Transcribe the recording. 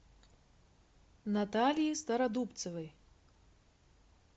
натальи стародубцевой